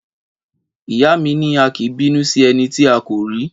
Ìyá mi ni; a kìí bínú si ẹni tí à kò rí